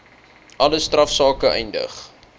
alle strafsake eindig